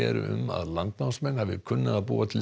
um að landnámsmenn hafi kunnað að búa til